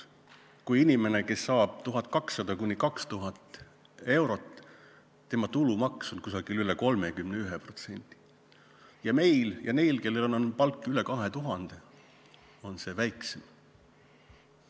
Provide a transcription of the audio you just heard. Inimesel, kes saab palka 1200–2000 eurot, on tulumaks üle 31%, aga meil ja neil, kelle palk on üle 2000, on see väiksem.